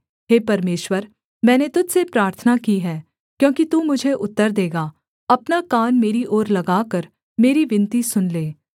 हे परमेश्वर मैंने तुझ से प्रार्थना की है क्योंकि तू मुझे उत्तर देगा अपना कान मेरी ओर लगाकर मेरी विनती सुन ले